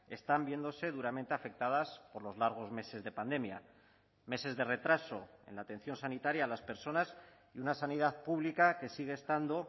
están viéndose duramente afectadas por los largos meses de pandemia meses de retraso en la atención sanitaria a las personas y una sanidad pública que sigue estando